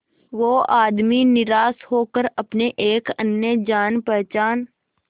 वो आदमी निराश होकर अपने एक अन्य जान पहचान